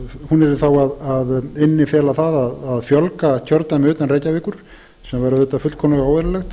yrði þá að innifela það að fjölga kjördæmum utan reykjavíkur sem væri auðvitað fullkomlega óeðlilegt